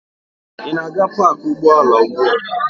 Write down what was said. Ị na-aga paakị ụgbọala ugbu a?